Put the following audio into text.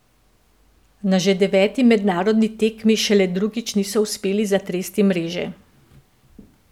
Na že deveti mednarodni tekmi šele drugič niso uspeli zatresti mreže.